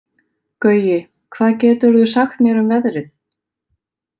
Gaui, hvað geturðu sagt mér um veðrið?